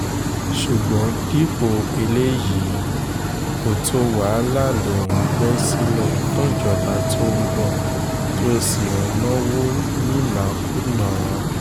ṣùgbọ́n dípò eléyìí kòtò wàhálà ló ń gbé sílẹ̀ fúnjọba tó ń bọ̀ tó sì ń náwó nínákúnàá